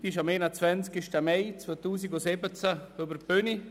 Diese ging am 21. Mai 2017 über die Bühne.